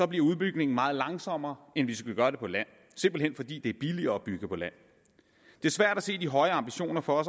bliver udbygningen meget langsommere end hvis vi gør det på land simpelt hen fordi det er billigere at bygge på land det er svært at se de høje ambitioner for